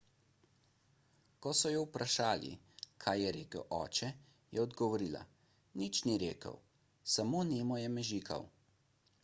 ko so jo vprašali kaj je rekel oče je odgovorila nič ni rekel samo nemo je mežikal